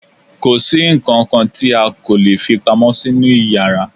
kòsí ǹkankan tí a kò lè fí pamọ́ sínú yàrá